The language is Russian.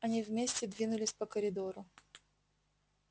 они вместе двинулись по коридору